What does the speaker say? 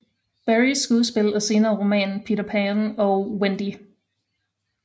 Barries skuespil og senere roman Peter Pan og Wendy